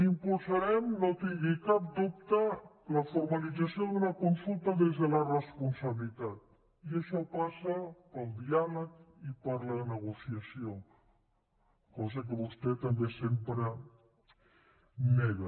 impulsarem no en tingui cap dubte la formalització d’una consulta des de la responsabilitat i això passa pel diàleg i per la negociació cosa que vostè també sempre nega